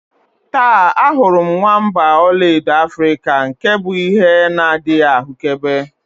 Taa, ahụrụ m nwamba ọlaedo Africa nke bụ ihe na-adịghị ahụkebe